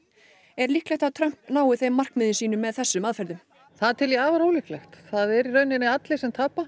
er líklegt að Trump nái þeim markmiðum sínum með þessum aðferðum það tel ég afar ólíklegt það eru í raun allir sem tapa